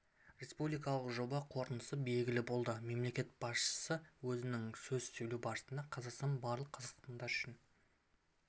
республикалық жоба қорытындысы белгілі болды мемлекет басшысы өзінің сөз сөйлеу барысында қазақстан барлық қазақстандықтар үшін